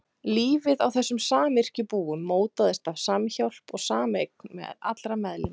Lífið á þessum samyrkjubúum mótaðist af samhjálp og sameign allra meðlima